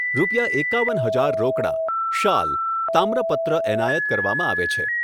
રૂપિયા એકાવન હજાર રોકડા, શાલ, તામ્રપત્ર એનાયત કરવામાં આવે છે.